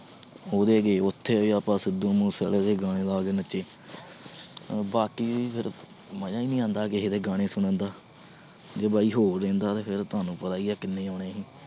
ਉਹਦੇ ਗਏ ਉੱਥੇ ਆਪਾਂ ਸਿੱਧੂ ਮੂਸੇਵਾਲੇ ਦੇ ਗਾਣੇ ਲਾ ਕੇ ਨੱਚੇ ਬਾਕੀ ਫਿਰ ਮਜ਼ਾ ਨੀ ਆਉਂਦਾ ਕਿਸੇ ਦੇ ਗਾਣੇ ਸੁਣਨ ਦਾ ਜੇ ਬਾਈ ਹੋਰ ਰਹਿੰਦਾ ਤੇ ਫਿਰ ਤੁਹਾਨੂੰ ਪਤਾ ਹੀ ਹੈ ਕਿੰਨੇ ਆਉਣੇ ਸੀ।